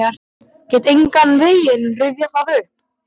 Get engan veginn rifjað það upp.